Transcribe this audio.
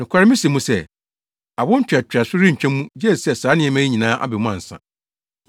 Nokware mise mo sɛ, awo ntoatoaso yi rentwa mu, gye sɛ saa nneɛma yi nyinaa aba mu ansa.